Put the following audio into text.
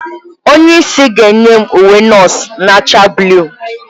Onye isi ga-enye m uwe nọọsụ na-acha buluu.